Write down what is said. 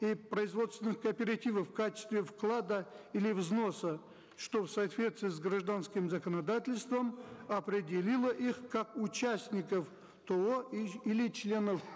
и производственных кооперативов в качестве вклада или взноса что в соответствии с гражданским законодательством определило их как участников то или членов